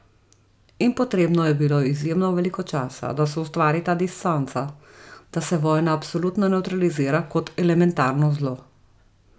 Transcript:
In potrebno je bilo izjemno veliko časa, da se ustvari ta distanca, da se vojna absolutno nevtralizira kot elementarno zlo.